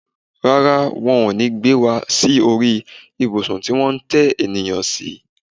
Rárá, won o ní gbé wá sí orí ìbùsùn tí wón ń tẹ ènìyàn si